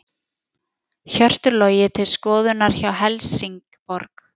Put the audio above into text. Hjörtur Logi til skoðunar hjá Helsingborg